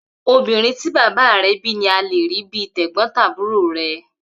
Obìnrin tí bàbá re bí ní a lè rí bíi tẹ̀gbón-tàbúro rẹ